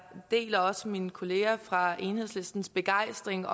deler også mine kollegaer fra enhedslistens begejstring